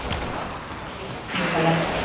Ligg inni á spítala